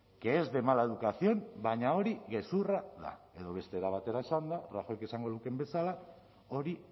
que es de mala educación baina hori gezurra da edo beste era batera esanda rajoyk esango lukeen bezala hori